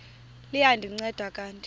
liya ndinceda kanti